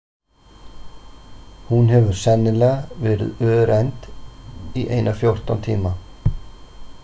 Hún hafði sennilega verið örend í eina fjórtán tíma.